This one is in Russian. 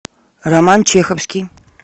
роман чеховский